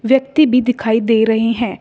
व्यक्ति भी दिखाई दे रहे हैं।